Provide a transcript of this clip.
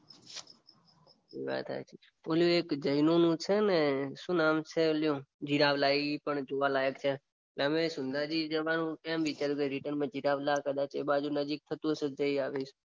એ વાત સાચી. પેલું જૈનોનું છે ને શું નામ છે એનું જીરાવલા એ પણ જોવા લાયક છે. અમે સિંધાજી જવાનું કેમ વિચાર્યું કે રિટર્નમાં જીરાવલા કદાચ એ બાજુ નજીક હસે તો જઈ આવીશ. એ વાત સાચી.